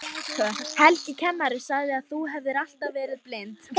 Helgi kennari sagði að þú hefðir alltaf verið blind.